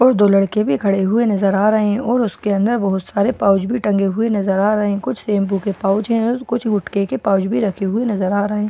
और दो लड़के भी खड़े हुए नज़र आ रहे हैं और उसके अंदर बहुत सारे पाउच भी टंगे हुए नजर आ रहे हैं कुछ शैंपू के पाउच है और कुछ गुटके के पाउच भी रखे हुए नजर आ रहे हैं ।